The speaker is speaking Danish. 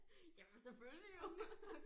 Jamen selvfølgelig jo